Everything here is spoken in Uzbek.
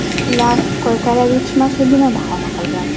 Ular koykalar yetishmasligini bahona qilgan.